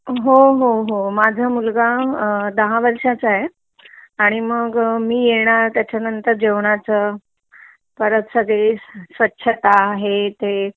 हो हो माझा मुलगा अ दहा वर्षाचा आहे आणि मग मी येणार त्याचा नंतर जेवनाच परत सगळी स्वच्छता हे ते